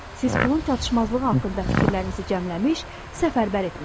Siz pulun çatışmazlığı haqqında fikirlərinizi cəmləmiş, səfərbər etmisiniz.